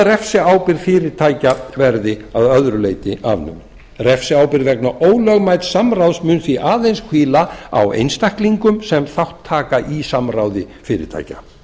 refsiábyrgð fyrirtækja verði að öðru leyti afnumin refsiábyrgð vegna ólögmætssamráðs mun því aðeins hvíla á einstaklingum sem þátt taka í samráði fyrirtækja